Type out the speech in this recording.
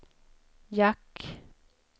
jack